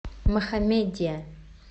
мохаммедия